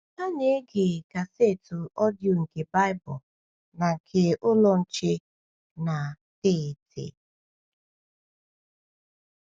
Ha na-ege kasetụ ọdịyo nke Baịbụl na nke Ụlọ Nche na Tetee!